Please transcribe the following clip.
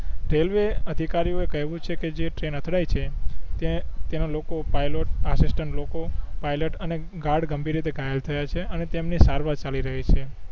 railway અધિકારીઓ એ કહિયું છે કે જે ટ્રેન અથડાઇ છે તે તેનો loco pilot assistant loco pilot અને ગાર્ડ ગંભીર રીતે ઘાયલ થયા છે અને તેમણે સારવાર ચાલી રહી છે